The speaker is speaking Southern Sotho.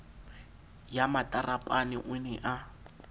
ya matarapane o ne a